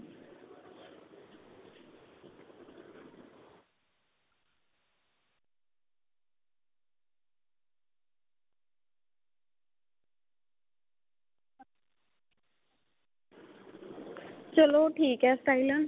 ਚਲੋ ਠੀਕ ਏ ਸਟਾਇਲਨ